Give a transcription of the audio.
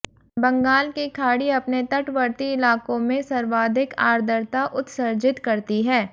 बंगाल की खाड़ी अपने तटवर्ती इलाकों में सर्वाधिक आर्द्रता उत्सर्जित करती है